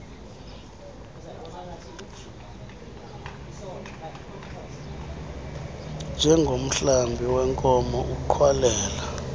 njengomhlambi weenkomo ugxwalela